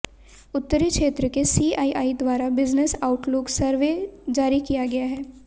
उत्तरी क्षेत्र के सीआईआई द्वारा बिजनेस आउटलुक सर्वे जारी किया गया है